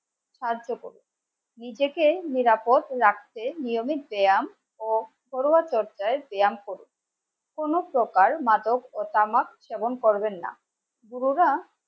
সাহায্য করুন নিজেকে নিরাপদ রাখতে নিয়মিত ব্যায়াম ও ঘরোয়া চর্চায় ব্যায়াম করউন কোন প্রকার মানব ও তামাক সেবন করবেন না. পুরোটা